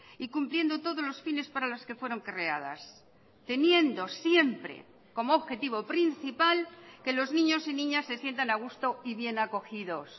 y cumpliendo todos los fines para las que fueron creadas teniendo siempre como objetivo principal que los niños y niñas se sientan a gusto y bien acogidos